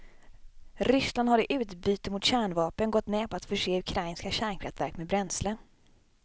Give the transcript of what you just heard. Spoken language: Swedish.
Ryssland har i utbyte mot kärnvapnen gått med på att förse ukrainska kärnkraftverk med bränsle.